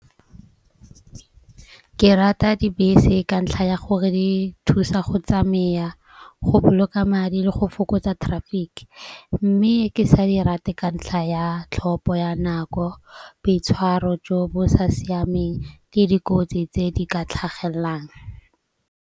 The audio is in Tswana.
Ke rata dibese ka ntlha ya gore di thusa go tsamaya go boloka madi le go fokotsa traffic. Mme ke sa di rate ka ntlha ya tlhopho ya nako, boitshwaro jo bo sa siameng le dikotsi tse di ka tlhagelelang.